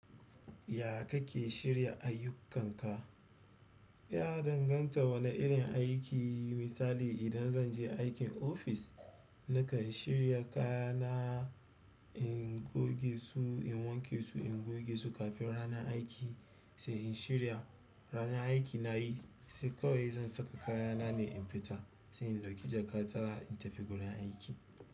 Ya kake shirya ayyukanka? Ya danganta wane irin aiki. Misali idan zanje aikin ofis, nakan shirya kayana in goge su, in wanke su, in goge su kafin ranar aiki, sai in shirya ranar aiki nayi, sai kawai zan saka kayana ne in fita, sai in ɗauki jakata in tafi gurin aiki.